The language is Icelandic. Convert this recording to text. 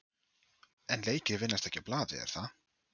En leikir vinnast ekki á blaði er það?